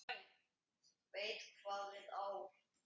Veit hvað við á.